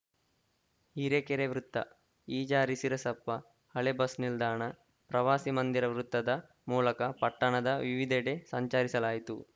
ಹಿರೇಕೆರೆ ವೃತ್ತ ಇಜಾರಿ ಶಿರಸಪ್ಪ ಹಳೇ ಬಸ್‌ ನಿಲ್ದಾಣ ಪ್ರವಾಸಿ ಮಂದಿರ ವೃತ್ತದ ಮೂಲಕ ಪಟ್ಟಣದ ವಿವಿಧೆಡೆ ಸಂಚರಿಸಲಾಯಿತು